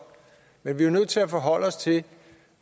men vi er jo nødt til at forholde os til